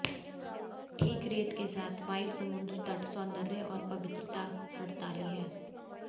ठीक रेत के साथ व्हाइट समुद्र तट सौंदर्य और पवित्रता हड़ताली है